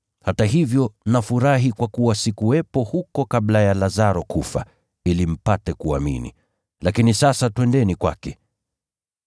Hata hivyo nafurahi kwa kuwa sikuwepo huko kabla ya Lazaro kufa, ili mpate kuamini. Lakini sasa twendeni kwake.”